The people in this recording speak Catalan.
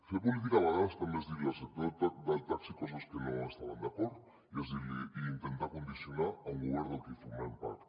fer política a vegades també és dir li al sector del taxi coses que no hi estaven d’acord i intentar condicionar un govern del que formem part